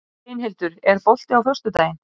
Steinhildur, er bolti á föstudaginn?